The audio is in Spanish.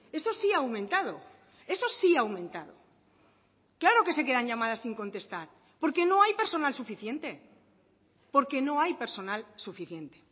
eso sí ha aumentado eso sí ha aumentado claro que se quedan llamadas sin contestar porque no hay personal suficiente porque no hay personal suficiente